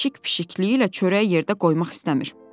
Pişik pişikliyi ilə çörək yerdə qoymaq istəmir.